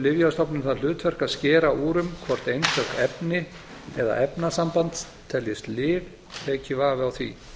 lyfjastofnun það hlutverk að skera úr um hvort einstök efni eða efnasamband teljist lyf leiki vafi á því